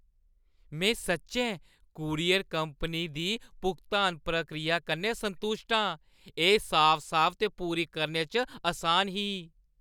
में सच्चैं courier company दी भुगतान प्रक्रिया कन्नै संतुश्ट आं। एह् साफ-साफ ते पूरी करने च असान ही।